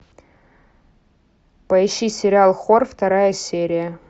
поищи сериал хор вторая серия